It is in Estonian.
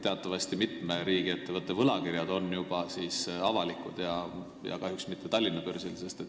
Teatavasti mitme riigiettevõtte võlakirjad on juba avalikud, aga kahjuks mitte Tallinna börsil.